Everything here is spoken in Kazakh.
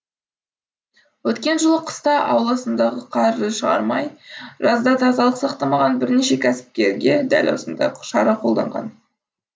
өткен жылы қыста ауласындағы қарды шығармай жазда тазалық сақтамаған бірнеше кәсіпкерге дәл осындай шара қолданған